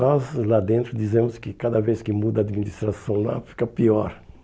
Nós lá dentro dizemos que cada vez que muda a administração lá, fica pior.